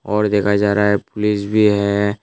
और देखा जा रहा है पुलिस भी है।